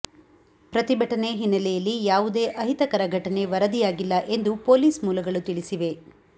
ಪ್ರತಿಭಟನೆ ಹಿನ್ನೆಲೆಯಲ್ಲಿ ಯಾವುದೇ ಅಹಿತಕರ ಘಟನೆ ವರದಿಯಾಗಿಲ್ಲ ಎಂದು ಪೊಲೀಸ್ ಮೂಲಗಳು ತಿಳಿಸಿವೆ